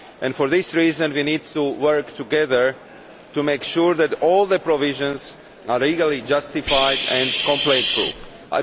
For this reason, we need to work together to make sure that all the provisions are legally justified and completely valid.